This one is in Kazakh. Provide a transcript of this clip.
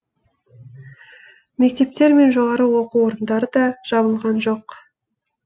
мектептер мен жоғары оқу орындары да жабылған жоқ